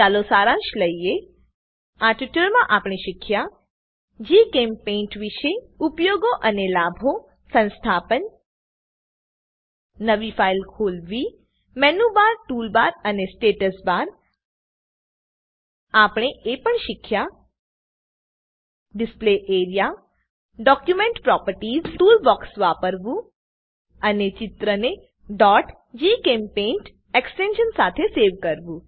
ચાલો સારાંશ લઈએ આ ટ્યુટોરીયલ માં આપણે શીખ્યા જીચેમ્પેઇન્ટ વિષે ઉપયોગો અને લાભો સંસ્થાપન નવી ફાઈલ ખોલવી મેનુબર ટૂલબાર અને સ્ટેટસ બાર આપણે એ પણ શીખ્યા display A R E A display area document properties document property tool box વાપરવું અને ચિત્રને gchempaint એક્સ્ટેંશન સાથે સેવ કરવું